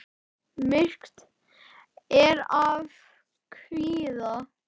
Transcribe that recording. Myrkt er af kvíða.